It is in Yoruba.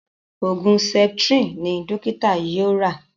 Oògùn septrin ní dókítà yóò rà.